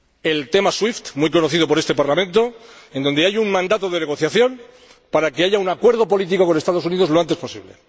el tema SWIFT, muy conocido por este Parlamento, respecto del que hay un mandato de negociación para que haya un acuerdo político con los Estados Unidos lo antes posible.